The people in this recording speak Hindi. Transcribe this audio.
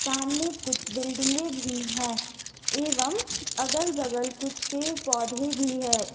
सामने कुछ बिल्डिंगे भी है एवं अगल बगल कुछ पेड़ पौधे भी हैं।